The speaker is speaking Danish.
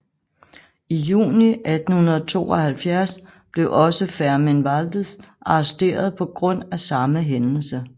I juni 1872 blev også Fermín Valdés arresteret på grund af samme hændelse